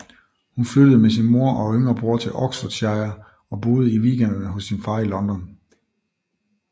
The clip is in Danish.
Hun flyttede med sin mor og yngre bror til Oxfordshire og boede i weekenderne hos sin far i London